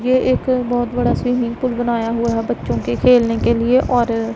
ये एक बहोत बड़ा स्विमिंग पूल बनाया हुआ है बच्चों के खेलने के लिए और--